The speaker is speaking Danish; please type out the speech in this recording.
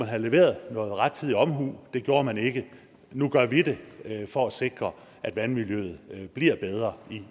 have leveret noget rettidig omhu det gjorde man ikke nu gør vi det for at sikre at vandmiljøet bliver bedre